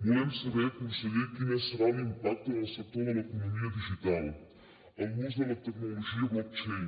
volem saber conseller quin serà l’impacte en el sector de l’economia digital en l’ús de la tecnologia blockchain